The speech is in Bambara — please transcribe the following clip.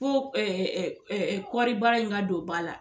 ŋo kɔri baara in ka don ba la